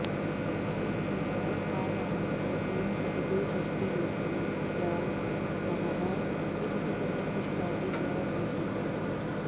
इस प्रकार आवाहन कर ॐ चतुःषष्टियोगिनीभ्यो नमः इससे चन्दन पुष्प आदि द्वारा पूजन करें